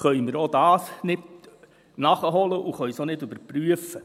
Auch das können wir weder nachholen noch überprüfen.